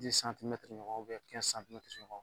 ɲɔgɔn ɲɔgɔn